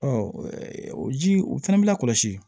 o ji o fana bɛ lakɔsi